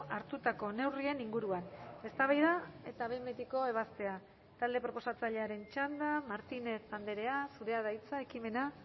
hartutako neurrien inguruan eztabaida eta behin betiko ebazpena talde proposatzailearen txanda martínez andrea zurea da hitza ekimena